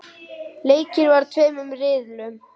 Leikið var í tveimur riðlum.